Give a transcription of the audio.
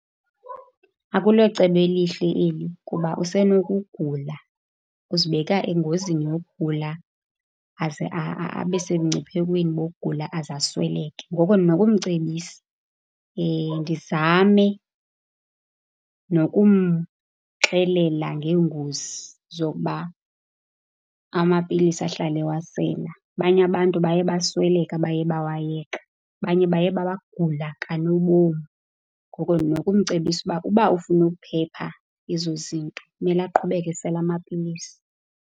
Akulocebo elihle eli kuba usenokugula. Uzibeka engozini yokugula aze abe semngciphekweni wokugula aze asweleke. Ngoku ndinokumcebisa ndizame nokumxelela ngeengozi zokuba amapilisi ahlale ewasela. Abanye abantu baye basweleka, abaye bewayeka. Abanye baye bagula kanobomi, ngoko ndinokumcebisa ukuba ukuba ufuna ukuphepha ezo zinto, kumele aqhubeke esela amapilisi.